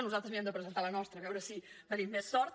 nosaltres mirem de presentar la nostra a veure si tenim més sort